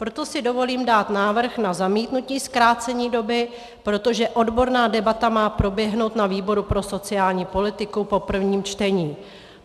Proto si dovolím dát návrh na zamítnutí zkrácení doby, protože odborná debata má proběhnout na výboru pro sociální politiku po prvním čtení.